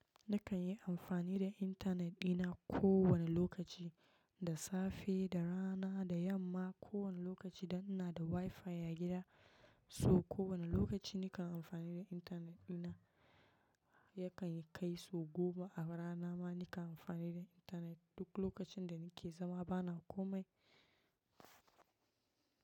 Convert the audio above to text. Nakan yi amfani da intanet ɗina ko wane lokaci, da safe, da rana, da yamma, ko wane lokaci da ina da WiFi a gida. So ko wane lokaci nakan amfani da intanet ɗina yakan kai sogoma ba a rana ma nakan amfani da intanet duk lokacin da nake zama bana komai.